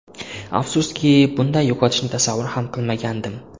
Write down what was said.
Afsuski, bunday yo‘qotishni tasavvur ham qilmagandim.